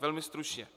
Velmi stručně.